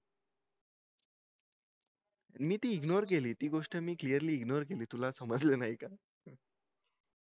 मी ती ignore केली मी ती गोष्ट clearly ignore केली तुला समजलं नाही का